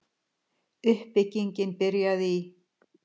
Uppbyggingin byrjaði í